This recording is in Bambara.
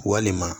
Walima